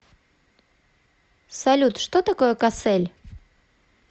салют что такое кассель